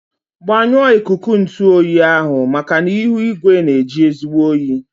Gbanyụọ ikuku ntụ oyi ahụ maka na ihu igwe na-eji ezigbo oyi.